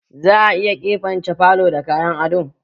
Za a iya keɓance falo da kayan ado?